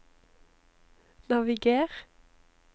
naviger